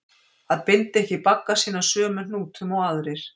Að binda ekki bagga sína sömu hnútum og aðrir